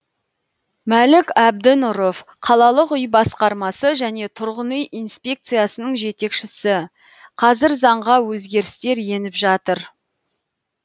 мәлік әбдінұров қалалық үй басқармасы және тұрғын үй инспекциясының жетекшісі қазір заңға өзгерістер еніп жатыр